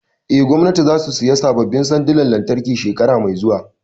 Eh, gwamnatin za su saya sabbin sandonan lantarki shekara mai zuwa